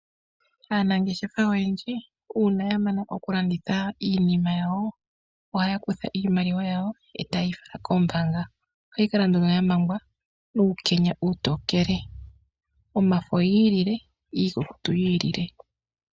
Aanangeshefa oyendji ngele ya mana okulanditha iinima yawo ohaakutha iimaliwa ndjoka yazi mokulanditha eta yeyi fala koombanga ye keyi pungule .Iimaliwa mbika ohayi kala ya mangwa nuukenya uutokele yomafo yiilile niikukutu yiilile woo.